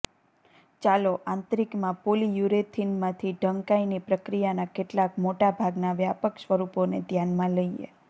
ચાલો આંતરિકમાં પોલીયુરેથીનમાંથી ઢંકાઈની પ્રક્રિયાના કેટલાક મોટાભાગના વ્યાપક સ્વરૂપોને ધ્યાનમાં લઈએ